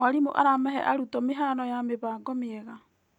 Mwarimũ aramahe arutwo mĩhano ya mĩbango mĩega.